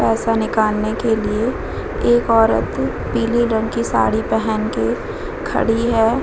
पैसा निकलने के लिए एक औरत पीली रंग की साड़ी पेहेन के खड़ी है।